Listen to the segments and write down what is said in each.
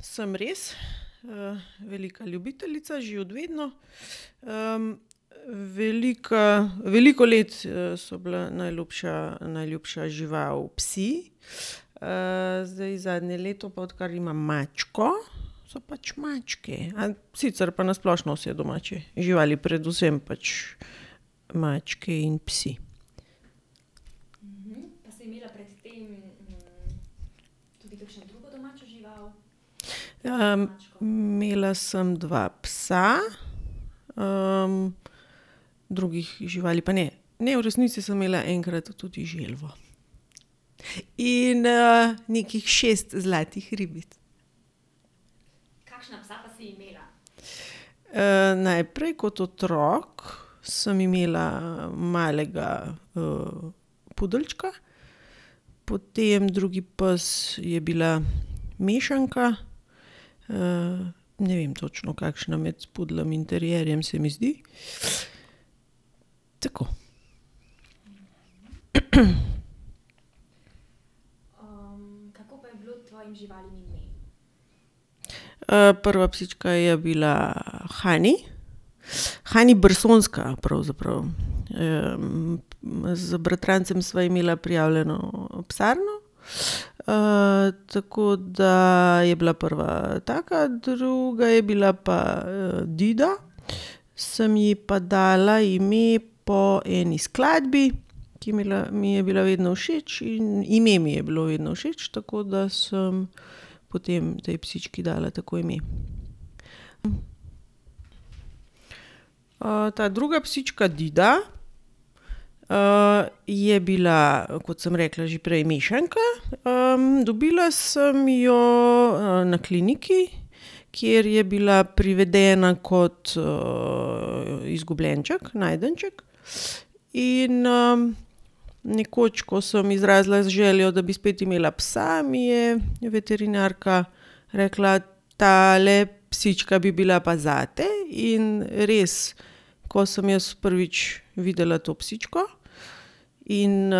sem res. velika ljubiteljica že od vedno. veliko let, so bila najljubša, najljubša žival psi, zdaj zadnje leto pa, odkar imam mačko, so pač mačke. sicer pa na splošno vse domače živali, predvsem pač mačke in psi. imela sem dva psa, drugih živali pa ne. Ne, v resnici sem imela enkrat tudi želvo. In, nekih šest zlatih ribic. najprej kot otrok sem imela, malega, pudeljčka, potem drugi pes je bila mešanka, ne vem točno, kakšna, med pudljem in terierjem, se mi zdi. Tako. prva psička je bila Hani, Hani Bersonska, pravzaprav. z bratrancem sva imela prijavljeno psarno, tako da je bila prva taka, druga je bila pa Dida, sem ji pa dala ime po eni skladbi, ki mi je mi je bila vedno všeč, in, ime mi je bilo vedno všeč, tako da sem potem tej psički dala tako ime. ta druga psička Dida, je bila, kot sem rekla že prej, mešanka. dobila sem jo, na kliniki, kjer je bila privedena kot, izgubljenček, najdenček. In, nekoč, ko sem izrazila željo, da bi spet imela psa, mi je veterinarka rekla: "Tale psička bi bila pa zate." In res, ko sem jaz prvič videla to psičko in,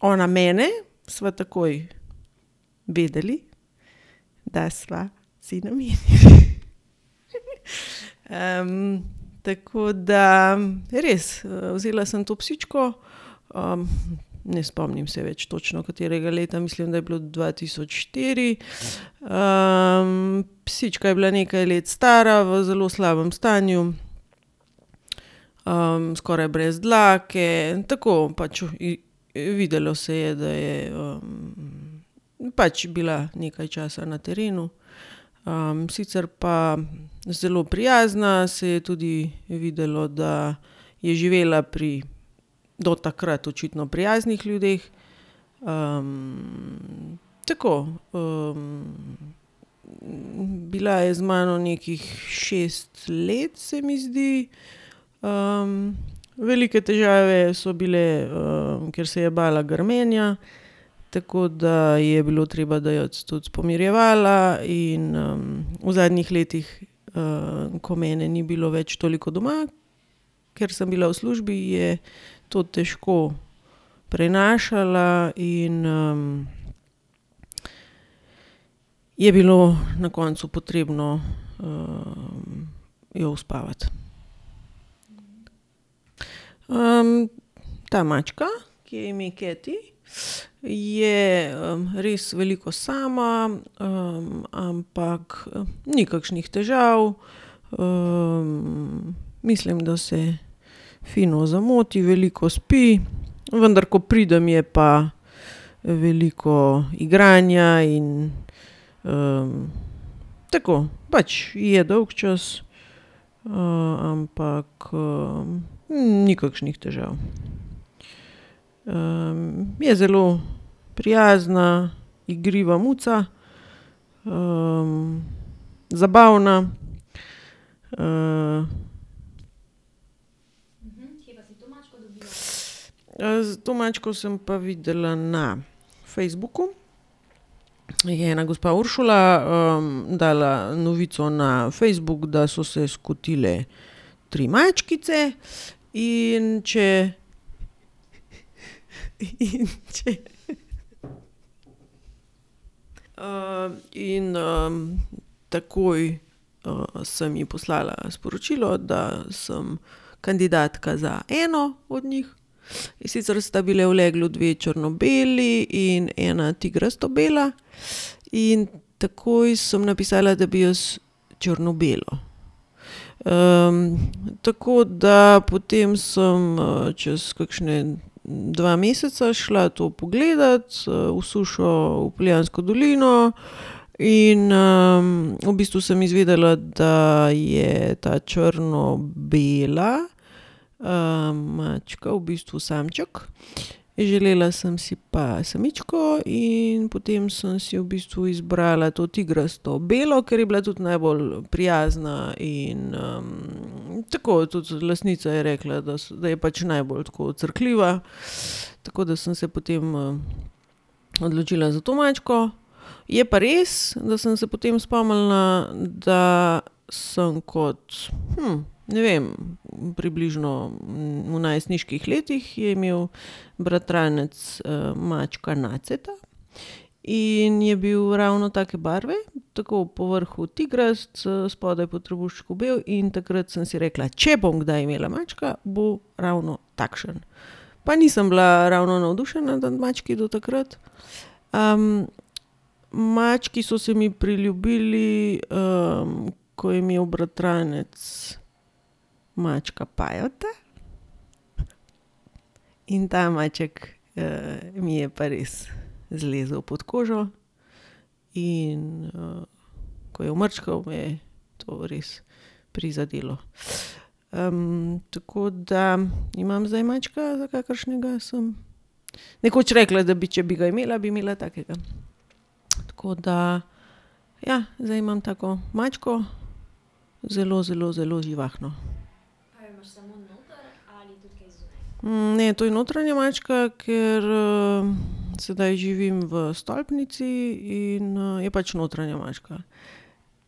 ona mene, sva takoj vedeli, da sva si namenjeni. tako da, res, vzela sem to psičko, ne spomnim se več točno, katerega leta. Mislim, da je bilo dva tisoč štiri. psička je bila nekaj let stara, v zelo slabem stanju, skoraj brez dlake. Tako pač videlo se je, da je, pač bila nekaj časa na terenu. sicer pa zelo prijazna, se je tudi videlo, da je živela pri do takrat očitno prijaznih ljudeh, tako, Bila je z mano nekih šest let, se mi zdi. velike težave so bile, ker se je bala grmenja. Tako da je bilo treba dajati tudi pomirjevala in, v zadnjih letih, ko mene ni bilo več toliko doma, ker sem bila v službi, je to težko prenašala in, je bilo na koncu potrebno, jo uspavati. ta mačka, ki ji je ime Keti, je, res veliko sama, ampak ni kakšnih težav. mislim, da se fino zamoti, veliko spi, vendar ko pridem, je pa veliko igranja in, tako, pač ji je dolgčas, ampak, ni kakšnih težav. je zelo prijazna, igriva muca, zabavna, to mačko sem pa videla na Facebooku. Jih je ena gospa Uršula, dala novico na Facebook, da so se skotile tri mačkice, in če, in če, in, takoj, sem ji poslala sporočilo, da sem kandidatka za eno od njih, in sicer sta bile v leglu dve črno-beli in ena tigrasto bela. In takoj sem napisala, da bi jaz črno-belo. tako da potem sem, čez kakšna dva meseca šla to pogledat, v Sušo v Poljansko dolino in, v bistvu sem izvedela, da je ta črno-bela, mačka v bistvu samček, želela sem si pa samičko. In potem sem si v bistvu izbrala to tigrasto belo, ker je bila tudi najbolj prijazna in, tako, tudi lastnica je rekla, da da je pač najbolj tako crkljiva, tako da sem se potem, odločila za to mačko. Je pa res, da sem se potem spomnila, da sem kot, ne vem, približno v najstniških letih je imel bratranec, mačka Naceta in je bil ravno take barve. Tako, po vrhu tigrast, spodaj po trebuščku bel in takrat sem si rekla: "Če bom kdaj imela mačka, bo ravno takšen." Pa nisem bila ravno navdušena nad mački do takrat. mački so se mi priljubili, ko je imel bratranec mačka Pajota in ta maček, mi je pa res zlezel pod kožo in, ko je umrčkal, me je to res prizadelo. tako da imam zdaj mačka, za kakršnega sem nekoč rekla, da bi, če bi ga imela, bi imela takega. Tako da, ja, zdaj imam tako mačko, zelo, zelo, zelo živahno. ne, to je notranja mačka, ker, sedaj živim v stolpnici in, je pač notranja mačka.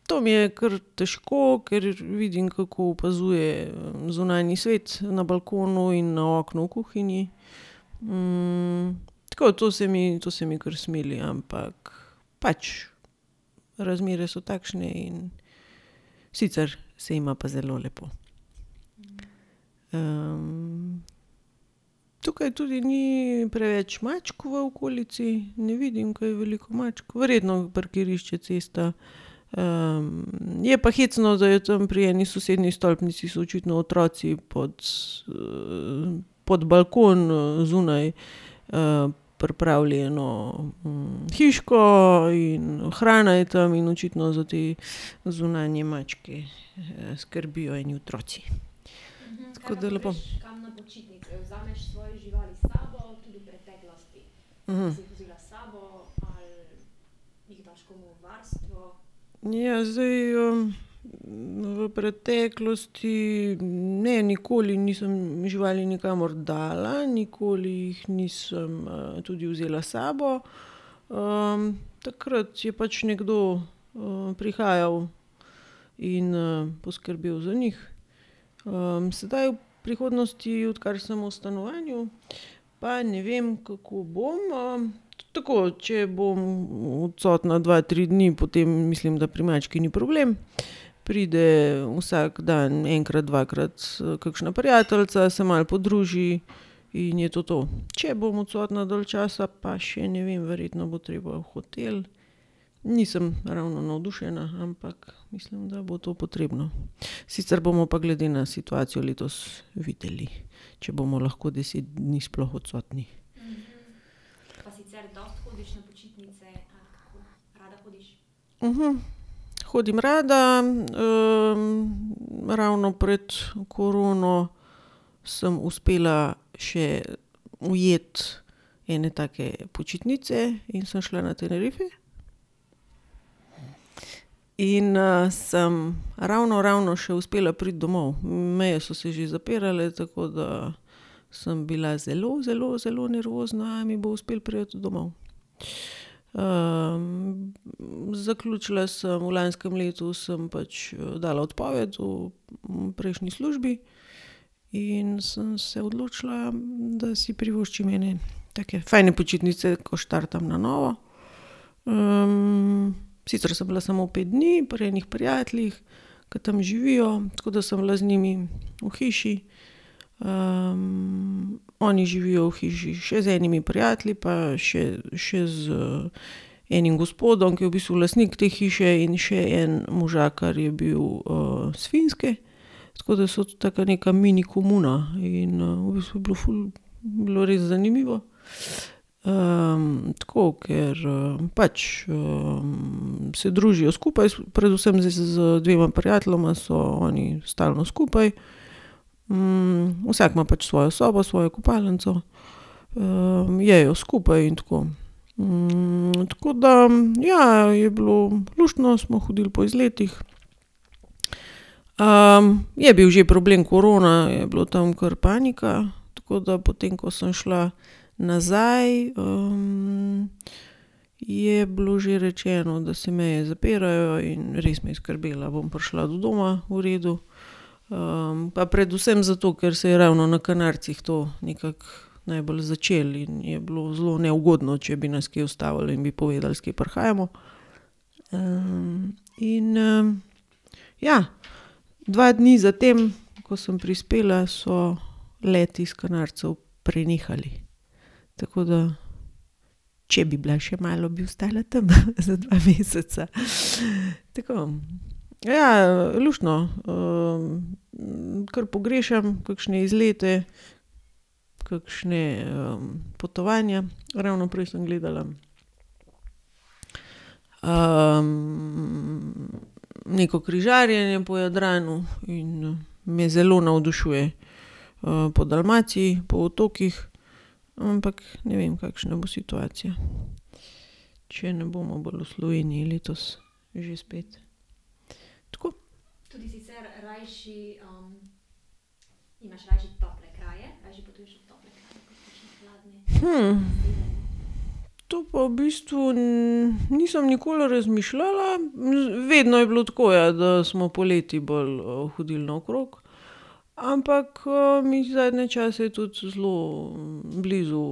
To mi je kar težko, ker vidim, kako opazuje, zunanji svet na balkonu in na oknu v kuhinji, tako, to se mi, to se mi kar smili, ampak pač razmere so takšne in ... Sicer se ima pa zelo lepo. tukaj tudi ni preveč mačk v okolici. Ne vidim kaj veliko mačk. Verjetno parkirišče, cesta. je pa hecno, da je tam pri eni sosednji stolpnici so očitno otroci pod, pod balkon zunaj, pripravili eno, hiško in hrana je tam in očitno za te zunanje mačke, skrbijo eni otroci. Tako da lepo. Ja, zdaj, v preteklosti ne, nikoli nisem živali nikamor dala, nikoli jih nisem, tudi vzela s sabo. takrat je pač nekdo, prihajal in, poskrbel za njih, zdaj v prihodnosti, odkar sem v stanovanju, pa ne vem, kako bom. tako, če bom odsotna dva, tri dni, potem mislim, da pri mački ni problem. Pride vsak dan enkrat, dvakrat kakšna prijateljica, se malo podruži in je to to. Če bom odsotna dalj časa, pa še ne vem. Verjetno bo treba v hotel. Nisem ravno navdušena, ampak mislim, da bo to potrebno. Sicer bomo pa glede na situacijo letos videli, če bomo lahko deset dni sploh odsotni. Hodim rada. ravno pred korono sem uspela še ujeti ene take počitnice in sem šla na Tenerife. In, sem ravno, ravno še uspela priti domov. Meje so se že zapirale, tako da sem bila zelo, zelo, zelo nervozna, a mi bo uspelo priti domov. zaključila sem, v lanskem letu sem pač dala odpoved v, prejšnji službi in sem se odločila, da si privoščim ene take fajn počitnice, ko štartam na novo. sicer sem bila samo pet dni pri enih prijateljih, ke tam živijo. Tako da sem bila z njimi v hiši. oni živijo v hiši še z enimi prijatelji pa še, še z enim gospodom, ki je v bistvu lastnik te hiše, in še en možakar je bil, s Finske. Tako da so to taka neka mini komuna. In, v bistvu je bilo ful, bilo res zanimivo. tako, ker, pač, se družijo skupaj, predvsem z dvema prijateljema so oni stalno skupaj. vsak ima pač svojo sobo, svojo kopalnico, jejo skupaj in tako. tako da ja, je bilo luštno, smo hodili po izletih. je bil že problem korona, je bilo tam kar panika, tako da potem, ko sem šla nazaj, je bilo že rečeno, da se meje zapirajo, in res me je skrbelo, a bom prišla do doma v redu. pa predvsem zato, ker se je ravno na Kanarcih to nekako najbolj začelo in bi bilo zelo neugodno, če bi nas kje ustavili in bi povedali, s kje prihajamo. in, ja, dva dni za tem, ko sem prispela, so leti s Kanarcev prenehali. Tako da če bi bila še malo, bi ostala tam za dva meseca. Tako. Ja, luštno. kar pogrešam kakšne izlete, kakšna, potovanja. Ravno prej sem gledala, neko križarjenje po Jadranu in, me zelo navdušuje. po Dalmaciji, po otokih, ampak ne vem, kakšna bo situacija. Če ne bomo bolj v Sloveniji letos že spet. Tako. To pa v bistvu, nisem nikoli razmišljala, vedno je bilo tako, ja, da smo poleti bolj, hodili naokrog. Ampak, mi je zadnje čase tudi zelo, blizu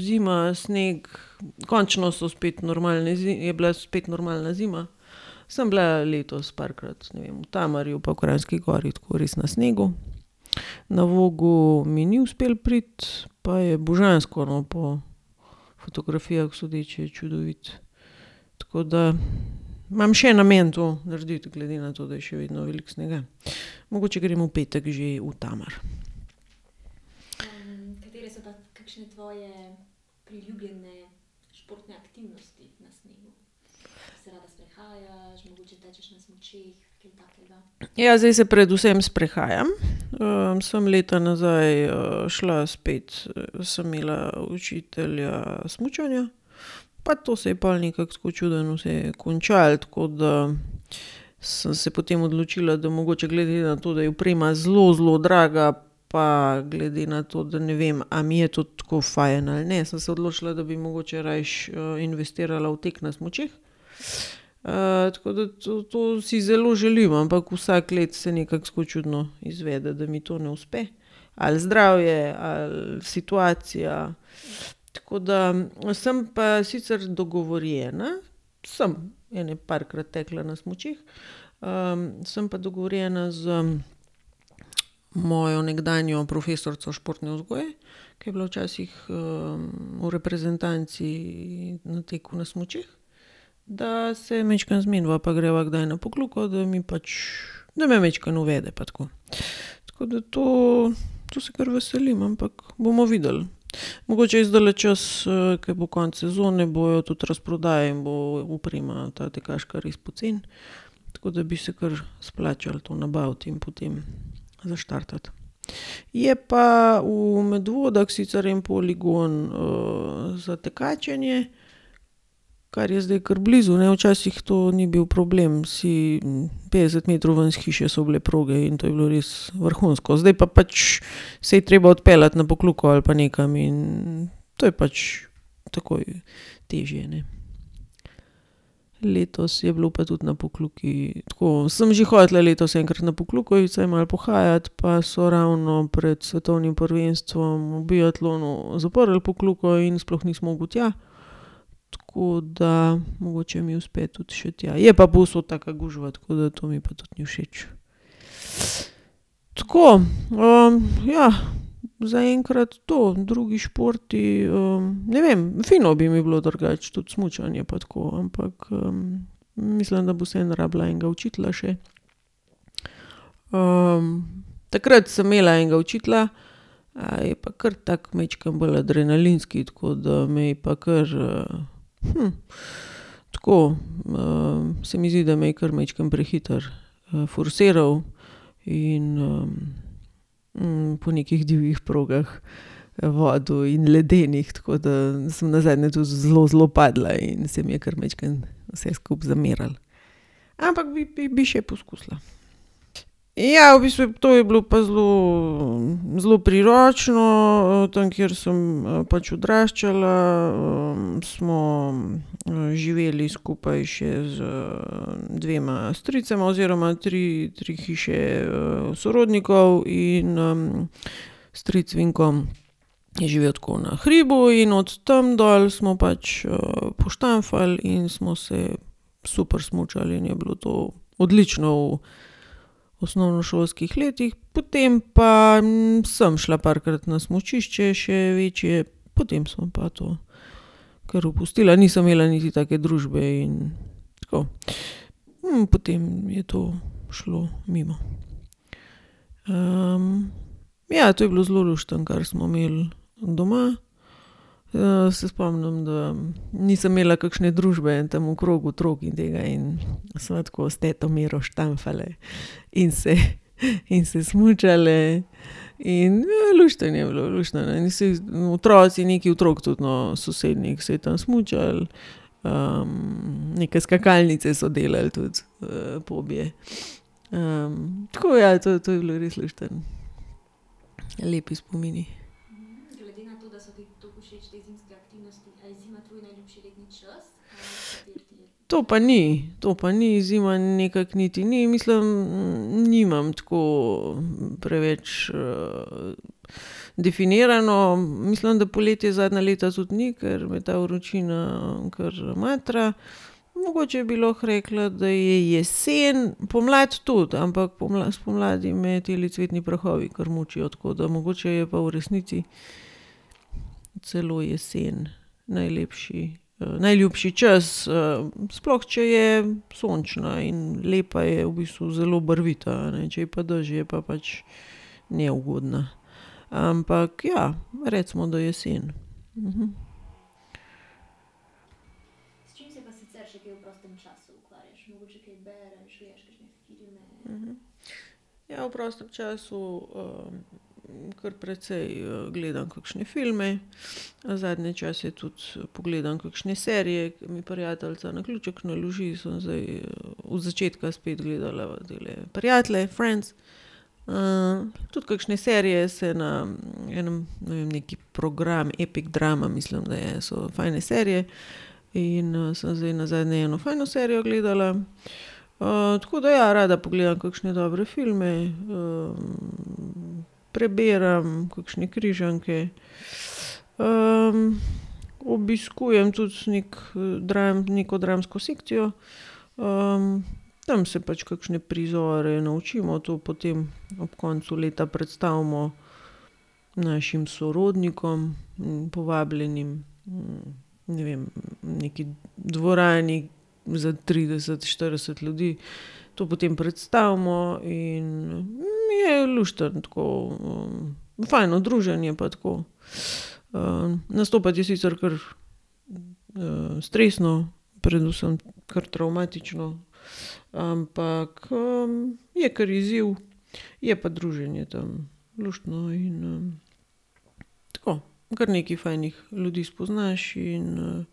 zima, sneg. Končno so spet normalne je bila spet normalna zima. Sem bila letos parkrat, ne vem, v Tamarju pa v Kranjski Gori tako res na snegu. Na Vogel mi ni uspelo priti, pa je božansko, no, po fotografijah sodeč je čudovit. Tako da imam še namen to narediti, glede na to, da je še vedno veliko snega. Mogoče grem v petek že v Tamar. Ja, zdaj se predvsem sprehajam. sem leta nazaj, šla spet, sem imela učitelja smučanja. Pa to se je pol nekako tako čudno vse končalo, tako da sem se potem odločila, da mogoče glede na to, da je oprema zelo, zelo draga, pa glede na to, da ne vem, a mi je to tako fajn ali ne, sem se odločila, da bi mogoče rajši, investirala v tek na smučeh. tako da to, to si zelo želim, ampak vsako leto se nekako tako čudno izvede, da mi to ne uspe. Ali zdravje ali situacija, tako da ... Sem pa sicer dogovorjena samo ene parkrat tekla na smučeh, sem pa dogovorjena z mojo nekdanjo profesorico športne vzgoje, ke je bila včasih, v reprezentanci v teku na smučeh, da se majčkeno zmeniva, pa greva kdaj na Pokljuko, da mi pač, da me majčkeno uvede pa tako. Tako da to, to se kar veselim, ampak bomo videli. Mogoče je zdajle čas, ke bo konec sezone, bojo tudi razprodaje in bo oprema, ta tekaška, res poceni. Tako da bi se kar splačalo to nabaviti in potem zaštartati. Je pa v Medvodah sicer en poligon, za tekačenje, kar je zdaj kar blizu, ne. Včasih to ni bil problem. Si ... Petdeset metrov ven s hiše so bile proge in to je bilo res vrhunsko. Zdaj pa pač se je treba odpeljati na Pokljuko ali pa nekam in to je pač takoj težje, ne. Letos je bilo pa tudi na Pokljuki tako. Sem že hotela letos enkrat na Pokljuko iti vsaj malo pohajat, pa so ravno pred svetovnim prvenstvom v biatlonu zaprli Pokljuko in sploh nisi mogel tja. Tako da mogoče mi uspe tudi še tja. Je pa povsod taka gužva, tako da to mi pa tudi ni všeč. Tako. ja, zaenkrat to. Drugi športi, ne vem, fino bi mi bilo drugače tudi smučanje pa tako. Ampak, mislim, da bi vseeno rabila enega učitelja še. takrat sem imela enega učitelja, je pa kar tako majčkeno bolj adrenalinski. Tako da me je pa kar, tako, se mi zdi, da me je kar majčkeno prehitro, forsiral in, po nekih divjih progah vodil in ledenih, tako da sem nazadnje tudi zelo, zelo padla in se mi je kar majčkeno vse skupaj zamerilo. Ampak bi, bi, bi še poskusila. Ja, v bistvu to je bilo pa zelo, zelo priročno. tam, kjer sem pač odraščala, smo živeli skupaj še z, dvema stricema oziroma tri, tri hiše, sorodnikov in, stric Vinko je živel tako na hribu in od tam dol smo pač, poštamfali in smo se super smučali in je bilo to odlično v osnovnošolskih letih. Potem pa sem šla parkrat na smučišče še večje, potem sem pa to kar opustila. Nisem imela niti take družbe in tako. In potem je to šlo mimo. ja, to je bilo zelo luštno, kar smo imeli doma. se spomnim, da nisem imela kakšne družbe tam okrog, otrok in tega, in sva tako s to Miro štamfali in se, in se smučali in, luštno je bilo, luštno. Vsi otroci, nekaj otrok tudi, no, sosednjih, se je tam smučalo, neke skakalnice so delali tudi, pobje. tako ja, to, to je bilo res luštno. Lepi spomini. To pa ni. To pa ni, zima nekako niti ni. Mislim, nimam tako, preveč, definirano. Mislim, da poletje zadnja leta tudi ni, ker me ta vročina, kar matra. Mogoče bi lahko rekla, da je jesen. Pomlad tudi, ampak spomladi me tile cvetni prahovi kar mučijo, tako da mogoče je pa v resnici celo jesen najlepši, najljubši čas. sploh če je sončna in lepa, je v bistvu zelo barvita, a ne. Če je pa dež, je pa pač neugodna. Ampak ja, recimo, da jesen. Ja, v prostem času, kar precej gledam kakšne filme, zadnje čase tudi pogledam kakšne serije, ke mi prijateljica na ključek naloži. Sem zdaj od začetka spet gledala tele Prijatelje, Friends. tudi kakšne serije se na enem, ne vem, neki program, Epic Drama mislim, da je, so fajn serije. In, sem zdaj nazadnje eno fajno serijo gledala. tako da ja, rada pogledam kakšne dobre filme, prebiram, kakšne križanke, obiskujem tudi neki, neko dramsko sekcijo. tam se pač kakšne prizore naučimo, to potem ob koncu leta predstavimo našim sorodnikom, povabljenim, ne vem, v neki dvorani za trideset, štirideset ljudi. To potem predstavimo in mi je luštno tako, fajno druženje pa tako. nastopati je sicer kar, stresno, predvsem kar travmatično, ampak, je kar izziv, je pa druženje tam luštno in, tako. Kar nekaj fajnih ljudi spoznaš in,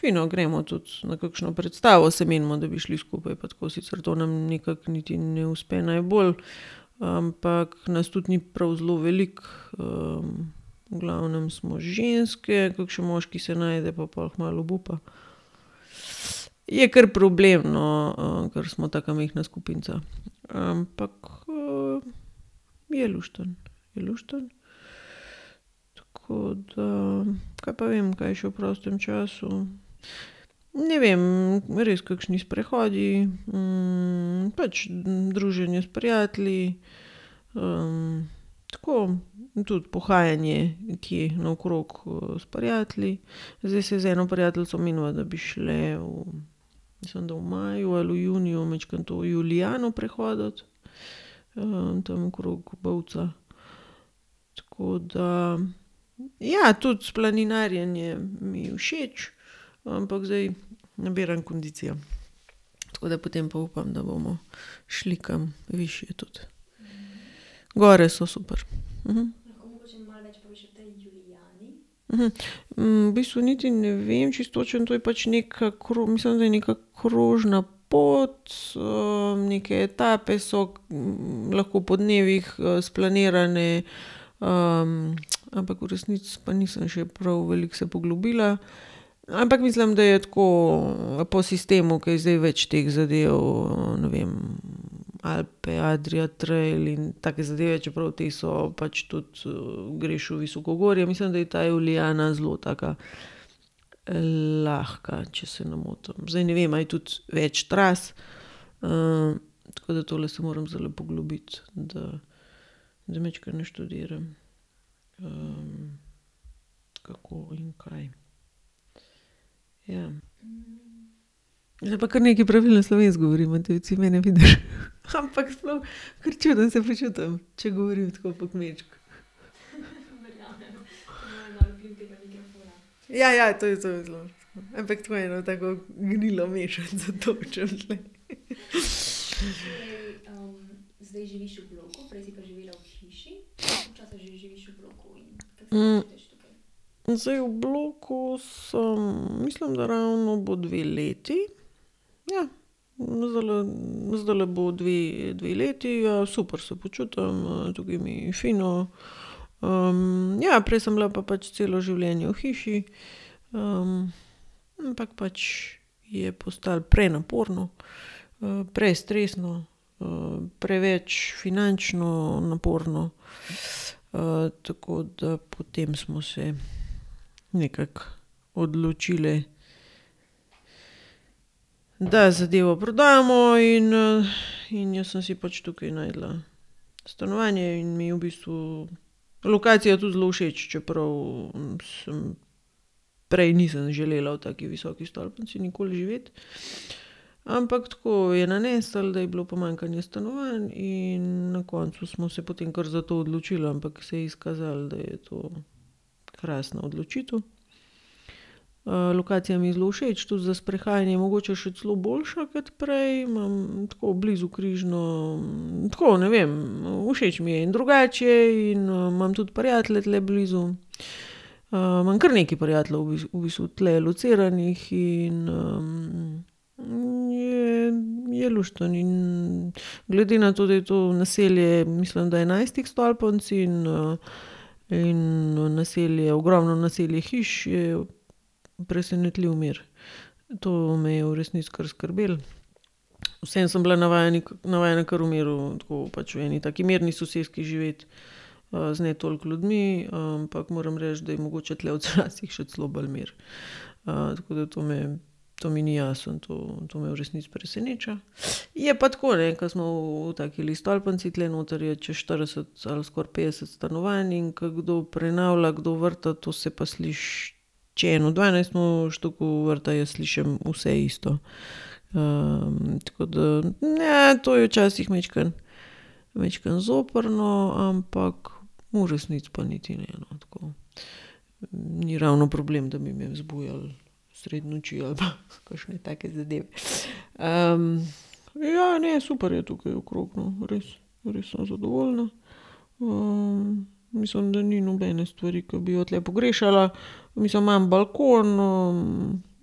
fino. Gremo tudi na kakšno predstavo, se menimo, da bi šli skupaj, pa tako. Sicer to nam nekako niti ne uspe najbolj, ampak nas tudi ni prav zelo veliko, v glavnem smo ženske, kakšen moški se najde, pa pol kmalu obupa. Je kar problem, no, ker smo taka majhna skupinica. Ampak, je luštno, je luštno. Tako da ... Kaj pa vem, kaj še v prostem času. Ne vem, res, kakšni sprehodi, pač druženje s prijatelji, tako, tudi pohajanje nekje naokrog s prijatelji. Zdaj se z eno prijateljico meniva, da bi šli v, mislim, da v maju ali v juniju, majčkeno to Julijano prehoditi. tam okrog Bovca. Tako da, ja, tudi planinarjenje mi je všeč, ampak zdaj nabiram kondicijo. Tako da potem pa upam, da bomo šli kam višje tudi. Gor so super. v bistvu niti ne vem čisto točno. To je pač neka mislim, da je neka krožna pot, neke etape so, lahko po dnevih, splanirane. ampak v resnici pa nisem še prav veliko se poglobila. Ampak mislim, da je tako, po sistemu, ke je zdaj več teh zadev. ne vem, Alpe Adria trail in take zadeve, čeprav te so pač tudi, greš v visokogorje. Mislim, da je ta Julijana zelo taka, lahko, če se ne motim. Zdaj ne vem, a je tudi več tras. tako da tole se moram zdajle poglobiti, da, da majčkeno naštudiram, kako in kaj. Ja. Zdaj pa kar nekaj pravilno slovensko govorim. A ti mene vidiš? Ampak sploh, ker čudno se počutim, če govorim tako po kmečko. Ja, ja, to, to je zelo tako ... Ampak tako, eno tako gnilo mešanico tolčem tule. zdaj v bloku sem, mislim, da ravno bo dve leti. Ja. Zdajle, zdajle bo dve, dve leti. super se počutim, tukaj mi je fino. ja, prej sem bila pa pač celo življenje v hiši, ampak pač je postalo prenaporno, prestresno, preveč finančno naporno, tako da potem smo se nekako odločile, da zadevo prodamo in, in jaz sem si pač tukaj našla stanovanje in mi je v bistvu lokacija tudi zelo všeč, čeprav, sem, prej nisem želela v taki visoki stolpnici nikoli živeti. Ampak tako je naneslo, da je bilo pomanjkanje stanovanj, in na koncu smo se potem kar za to odločili, ampak se je izkazalo, da je to krasna odločitev. lokacija mi je zelo všeč, tudi za sprehajanje mogoče še celo boljša kot prej. Imam tako blizu Križno. Tako, ne vem, všeč mi je. In drugače je in imam tudi prijatelje tule blizu. imam kar nekaj prijateljev v v bistvu tule lociranih in, je, je luštno in glede na to, da je to naselje, mislim da enajstih stolpnic in, in, naselje, ogromno naselje hiš, je presenetljiv mir. To me je v resnici kar skrbelo. Vseeno sem bila navajena navajena kar v miru, pač tako v eni taki mirni soseski živeti, z ne toliko ljudmi, ampak moram reči, da je mogoče tule včasih še celo bolj mir. tako da to me, to mi ni jasno, to, to me v resnici preseneča. Je pa tako, ne, ke smo v takile stolpnici, tule noter je čez štirideset ali skoraj petdeset stanovanj, in ko kdo prenavlja, kdo vrta, to se pa sliši. Če en v dvanajstem štuku vrta, jaz slišim vse isto. tako da, to je včasih majčkeno, majčkeno zoprno, ampak v resnici pa niti ne, no. Tako. Ni ravno problem, da bi me zbujalo sredi noči ali pa kakšne take zadeve. ja, ne, super je tukaj okrog, no. Res. Res sem zadovoljna. mislim, da ni nobene stvari, ki bi jo tule pogrešala. Mislim, imam balkon,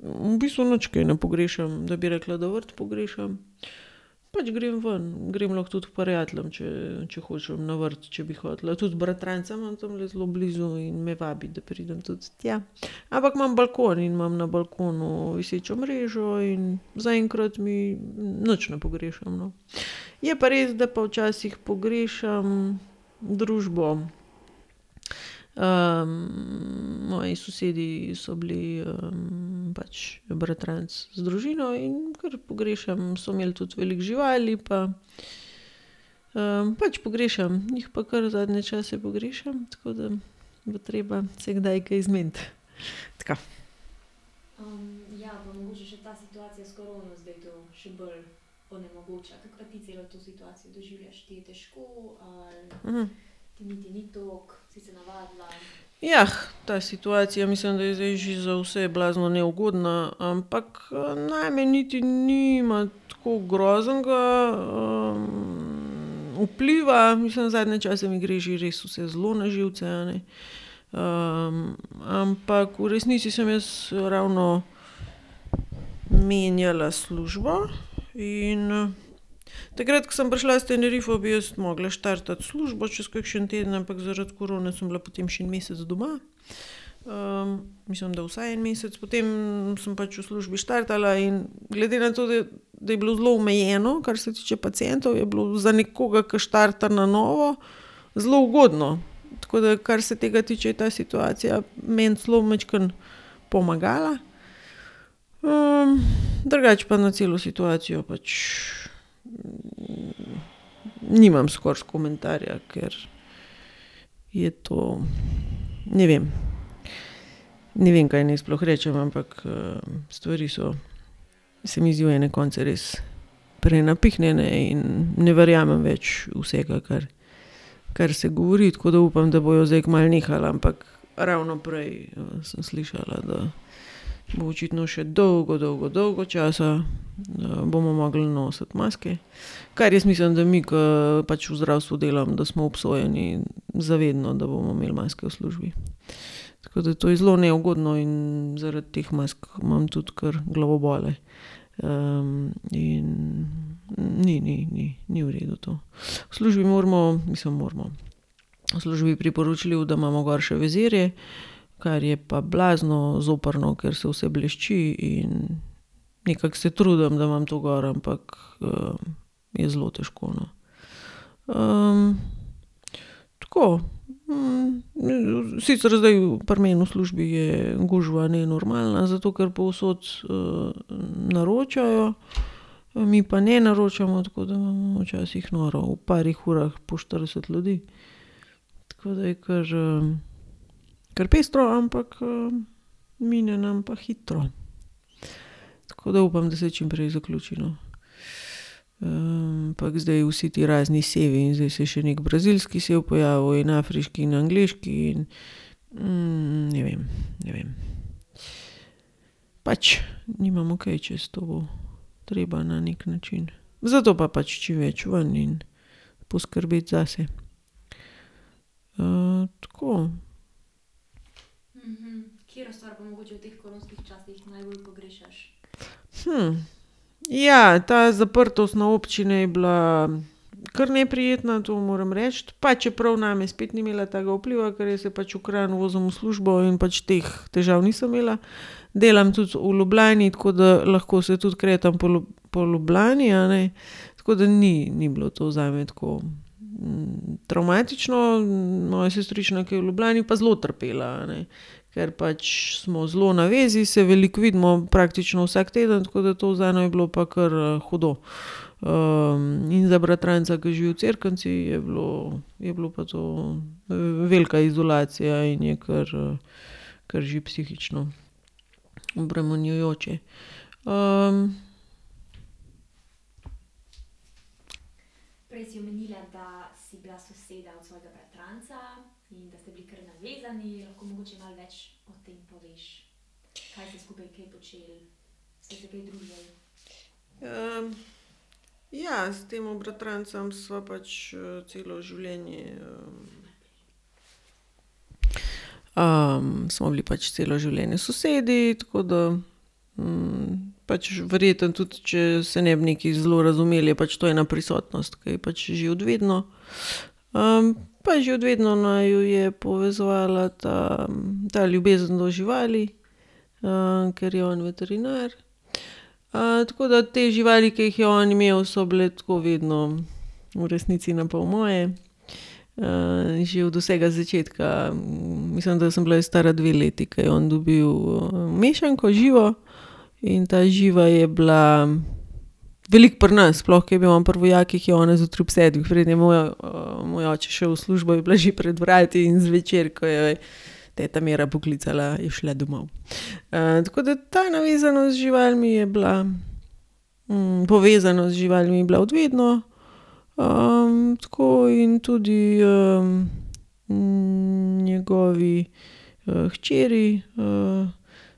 V bistvu nič kaj ne pogrešam, da bi rekla, da vrt pogrešam. Pač grem ven. Grem lahko tudi k prijateljem, če, če hočem na vrt, če bi hotela. Tudi bratranca imam tamle zelo blizu in me vabi, da pridem tudi tja. Ampak imam balkon in imam na balkonu visečo mrežo in zaenkrat mi, nič ne pogrešam, no. Je pa res, da pa včasih pogrešam družbo. moji sosedi so bili, pač bratranec z družino, in kar pogrešam. So imeli tudi veliko živali pa, pač pogrešam. Jih pa kar zadnje čase pogrešam, tako da bo treba se kdaj kaj zmeniti. Tako. ta situacija, mislim, da je zdaj že za vse bila zelo neugodna, ampak, name niti nima tako groznega, vpliva. Mislim, zadnje čase mi gre že res vse zelo na živce, a ne. ampak v resnici sem jaz ravno menjala službo in takrat, ko sem prišla s Tenerifov, bi jaz mogla štartati s službo čez kakšen teden, ampak zaradi korone sem bila potem še en mesec doma. mislim, da vsaj en mesec. Potem sem pač v službi štartala in glede na to, da, da je bilo zelo omejeno, kar se tiče pacientov, je bilo za nekoga, ke štarta na novo, zelo ugodno. Tako da kar se tega tiče, je ta situacija meni celo majčkeno pomagala. drugače pa na celo situacijo pač, nimam skoraj komentarja, ker je to ... Ne vem. Ne vem, kaj naj sploh rečem, ampak, stvari so se mi zdi v ene konce res prenapihnjene in ne verjamem več vsega, kar, kar se govori, tako da upam, da bojo zdaj kmalu nehal, ampak ravno prej, sem slišala, da bo očitno še dolgo, dolgo, dolgo časa, bomo mogli nositi maske, kar jaz mislim, da mi, ke pač v zdravstvu delamo, da smo obsojeni za vedno, da bomo imeli maske v službi. Tako da to je zelo neugodno in zaradi teh mask imam tudi kar glavobole. in ni, ni, ni, ni v redu to. V službi moramo, mislim moramo, v službi je priporočljivo, da imamo gor še vizirje, kar je pa blazno zoprno, ker se vse blešči in nekako se trudim, da imam to gor, ampak, je zelo težko, no. tako. sicer zdaj, pri meni v službi je gužva nenormalna, zato ker povsod, naročajo, mi pa ne naročamo, tako da imamo včasih noro, v parih urah po štirideset ljudi. Tako da je kar, kar pestro, ampak, mine nam pa hitro. Tako da upam, da se čim prej zaključi, no. ampak zdaj vsi ti razni sevi. Zdaj se je še neki brazilski sev pojavil in afriški in angleški in, ne vem, ne vem. Pač, nimamo kaj, čez to bo treba na neki način. Zato pa pač čim več ven in poskrbeti zase. tako. Ja, ta zaprtost na občine je bila kar neprijetna, to moram reči. Pa čeprav name spet ni imela takega vpliva, ker jaz se pač v Kranj vozim v službo in pač teh težav nisem imela. Delam tudi v Ljubljani, tako da lahko se tudi kretam po po Ljubljani, a ne. Tako da ni, ni bilo to zame tako, travmatično, moja sestrična, ke je v Ljubljani, je pa zelo trpela, a ne. Ker pač smo zelo na vezi, se veliko vidimo, praktično vsak teden, tako da to zanjo je bilo pa kar, hudo. in za bratranca, ki živi v Cerknici je bilo, je bilo pa to velika izolacija in je kar, kar že psihično obremenjujoče. ja, s tem bratrancem sva pač, celo življenje, smo bili pač celo življenje sosedi, tako da, pač verjetno tudi če se ne bi nekaj zelo razumeli, je pač to ena prisotnost, ke je pač že od vedno. pa že od vedno naju je povezovala ta, ta ljubezen do živali, ker je on veterinar. tako da te živali, ke jih je on imel, so bile tako vedno v resnici na pol moje. že od vsega začetka, mislim, da sem bila jaz stara dve leti, ke je on dobil, mešanko, Živo. In ta Živa je bila veliko pri nas. Sploh ke je bil on pri vojakih, je ona zjutraj ob sedmih, preden je moj moj oče šel v službo, je bila že pred vrati, in zvečer, ko jo je ta Mira poklicala, je šla domov. tako da ta navezanost z živalmi je bila, povezanost z živalmi je bila od vedno. tako in tudi, njegovi, hčeri,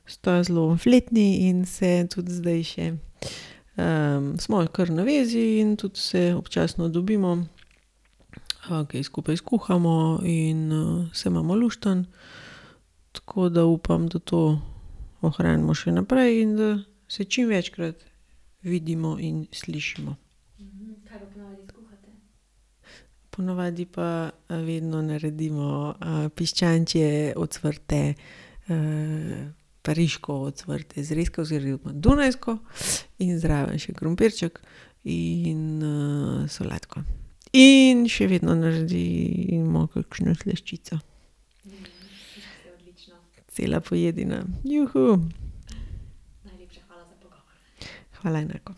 sta zelo fletni in se tudi zdaj še, smo kar na vezi in tudi se občasno dobimo, kaj skupaj skuhamo in, se imamo luštno. Tako da upam, da to ohranimo še naprej in da se čim večkrat vidimo in slišimo. Po navadi pa, vedno naredimo, piščančje ocvrte, pariško ocvrte zrezke, oziroma dunajsko, in zraven še krompirček in, solatko. In še vedno naredimo kakšno slaščico. Cela pojedina. Hvala enako.